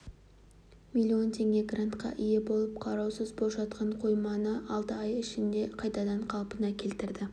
миллион теңге грантқа ие болып қараусыз бос жатқан қойманы алты ай ішінде қайтадан қалпына келтірді